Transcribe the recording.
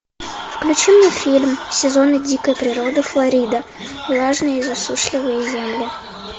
включи мне фильм сезоны дикой природы флорида влажные и засушливые земли